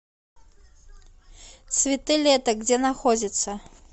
цветы лета где находится